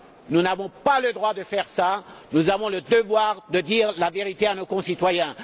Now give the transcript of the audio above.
Nous n'avons pas le droit de faire cela, nous avons le devoir de dire la vérité à nos concitoyens.